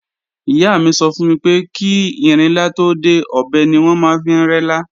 Ìyá mi sọ fún mi pé kí ìrinlá tó dé, ọ̀bẹ ni wọ́n máa ń fi rẹ́lá